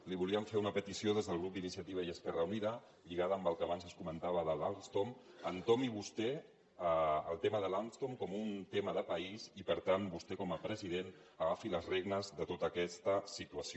li volíem fer una petició des del grup d’iniciativa i esquerra unida lligada amb el que abans es comentava de l’alstom entomi vostè el tema de l’alstom com un tema de país i per tant vostè com a president agafi les regnes de tota aquesta situació